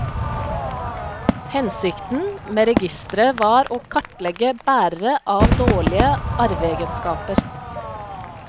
Hensikten med registeret var å kartlegge bærere av dårlige arveegenskaper.